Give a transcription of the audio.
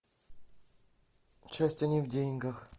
счастье не в деньгах